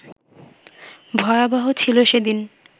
ভয়াবহ ছিল সেদিন